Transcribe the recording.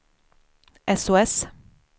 sos